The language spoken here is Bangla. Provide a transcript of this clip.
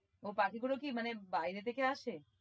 ও পাখি গুলো কি মানে বাইরে থেকে আসে?